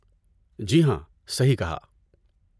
جی ہاں، صحیح کہا!